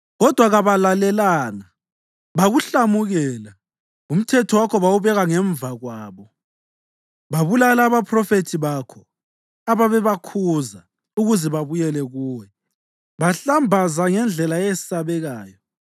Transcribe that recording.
Kodwa kabalalelanga bakuhlamukela; umthetho wakho bawubeka ngemva kwabo. Babulala abaphrofethi bakho, ababebakhuza ukuze babuyele kuwe; bahlambaza ngendlela eyesabekayo.